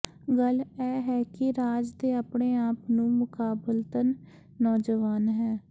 ਗੱਲ ਇਹ ਹੈ ਕਿ ਰਾਜ ਦੇ ਆਪਣੇ ਆਪ ਨੂੰ ਮੁਕਾਬਲਤਨ ਨੌਜਵਾਨ ਹੈ